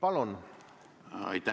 Aitäh!